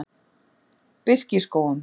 Birkiskógum